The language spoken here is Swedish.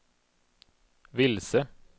vilse